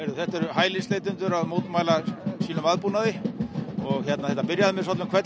þetta eru hælisleitendur að mótmæla sínum aðbúnaði það byrjaði með hvelli